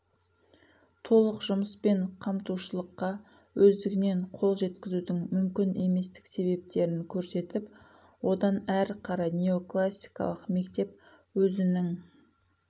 толық жұмыспен қамтушылыққа өздігінен қол жеткізудің мүмкін еместік себептерін көрсетіп одан әрі қарай неоклассикалық мектеп өзінің